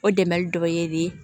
O dɛmɛ dɔ ye